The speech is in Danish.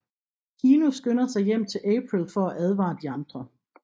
Keno skynder sig hjem til April for at advare de andre